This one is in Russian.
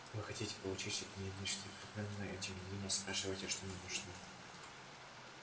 вы хотите получить от меня нечто определённое и тем не менее спрашиваете что мне нужно